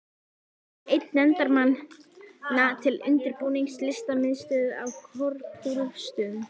Er einn nefndarmanna til undirbúnings Listamiðstöð á Korpúlfsstöðum.